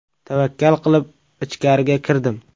Tavakkal qilib ichkariga kirdim.